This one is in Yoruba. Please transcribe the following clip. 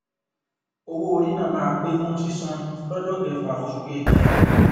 owó orí náà máa pé fún sísan lọjọ kẹfà osù kejì